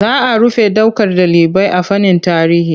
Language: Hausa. Za rufe ɗaukar ɗalibai a fannin tarihi.